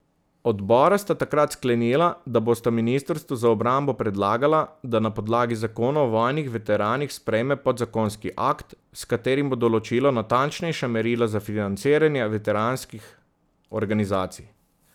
Odbora sta takrat sklenila, da bosta ministrstvu za obrambo predlagala, da na podlagi zakona o vojnih veteranih sprejme podzakonski akt, s katerim bo določilo natančnejša merila za financiranje veteranskih organizacij.